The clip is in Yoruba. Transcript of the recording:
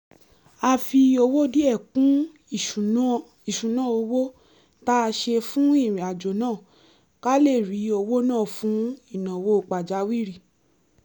a fi owó díẹ̀ kún ìṣúná-owó tá a ṣe fún ìrìnàjò náà ká lè rí owó ná fún ìnáwó pàjáwìrì